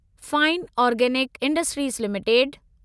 fine organic industries limited